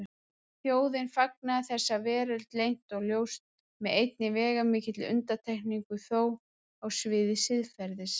Þjóðin fagnaði þessari veröld leynt og ljóst, með einni veigamikilli undantekningu þó: á sviði siðferðis.